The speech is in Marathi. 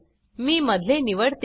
मी मधले निवडते